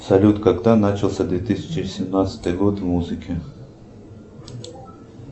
салют когда начался две тысячи семнадцатый год в музыке